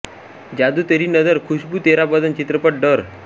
जादू तेरी नज़र खुशबू तेरा बदन चित्रपट डर